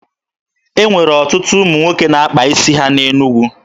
E nwere ọtụtụ ụmụ nwoke na-akpa isi ha na Enugwu.